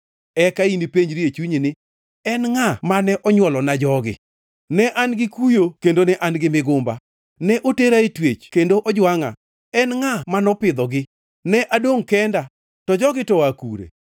Eka inipenjri e chunyi ni, ‘En ngʼa mane onywolona jogi? Ne an gi kuyo kendo ne an migumba, ne otera e twech kendo ojwangʼa. En ngʼa manopidhogi? Ne adongʼ kenda, to jogi to oa kure?’ ”